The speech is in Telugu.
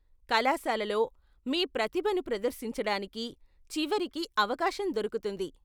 కళాశాలలో మీ ప్రతిభను ప్రదర్శించడానికి చివరికి అవకాశం దొరుకుతోంది.